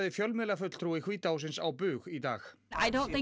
fjölmiðlafulltrúi hvíta hússins á bug í dag